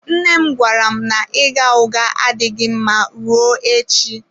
Nne m gwara m na ịgha ụgha adịghị mma ruo echi.